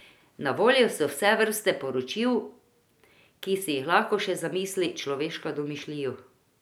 Na voljo so vse vrste poročil, ki si jih lahko še zamisli človeška domišljijo.